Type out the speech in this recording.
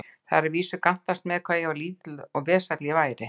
Það var að vísu gantast með það, hve lítill og vesæll ég væri.